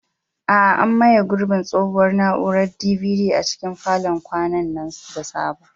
A'a, an maye gurbin tsohuwar na'urar DVD a cikin falon kwanan nan da sabo.